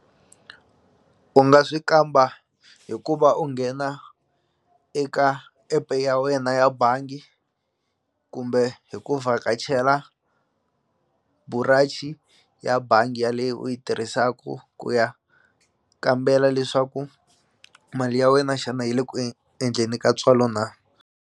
U nga swi kamba hi ku va u nghena eka epe ya wena ya bangi kumbe hi ku vhakachela burachi ya bangi ya leyo u yi tirhisaku ku ya kambela leswaku mali ya wena xana yi le ku endleni ka ntswalo na.